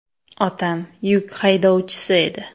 Otam yuk haydovchisi edi.